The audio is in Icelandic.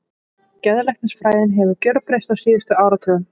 Geðlæknisfræðin hefur gjörbreyst á síðustu áratugum.